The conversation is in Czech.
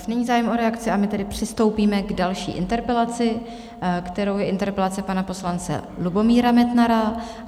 Už není zájem o reakci, a my tedy přistoupíme k další interpelaci, kterou je interpelace pana poslance Lubomíra Metnara.